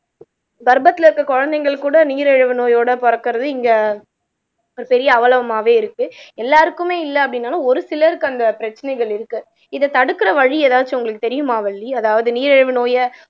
கர்ப்பத்துல இருக்கற குழந்தைகள் கூட நீரிழிவு நோயோட பிறக்கிறது இங்க ஒரு பெரிய அவலமாவே இருக்கு எல்லாருக்குமே இல்ல அப்படின்னாலும் ஒரு சிலருக்கு அந்த பிரச்சனைகள் இருக்கு இத தடுக்குற வழி ஏதாச்சும் உங்களுக்கு தெரியுமா வள்ளி அதாவது நீரிழிவு நோய